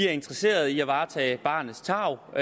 er interesseret i at varetage barnets tarv og